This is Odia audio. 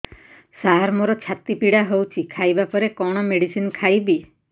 ସାର ମୋର ଛାତି ପୀଡା ହଉଚି ଖାଇବା ପରେ କଣ ମେଡିସିନ ଖାଇବି